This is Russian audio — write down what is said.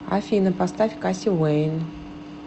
афина поставь касси уэйн